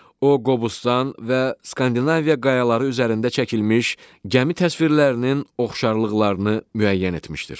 O Qobustan və Skandinaviya qayaları üzərində çəkilmiş gəmi təsvirlərinin oxşarlıqlarını müəyyən etmişdir.